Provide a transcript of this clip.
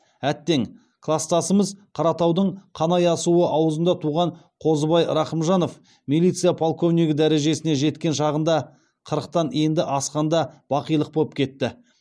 әттең кластасымыз қаратаудың қанай асуы аузында туған қозыбай рақымжанов милиция полковнигі дәрежесіне жеткен шағында қырықтан енді асқанда бақилық боп кетті